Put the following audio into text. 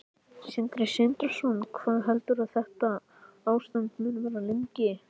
Sindri Sindrason: Hvað heldurðu að þetta ástand muni vara lengi?